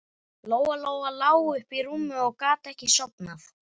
Lóa-Lóa lá uppi í rúmi og gat ekki sofnað.